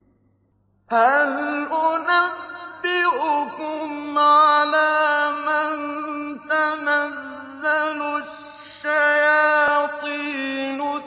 هَلْ أُنَبِّئُكُمْ عَلَىٰ مَن تَنَزَّلُ الشَّيَاطِينُ